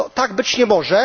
Tak być nie może.